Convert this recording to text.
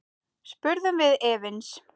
spurðum við efins.